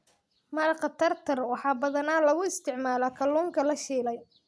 Maraqa Tartar waxaa badanaa lagu isticmaalaa kalluunka la shiilay.